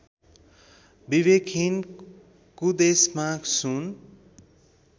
विवेकहीन कुदेशमा सुन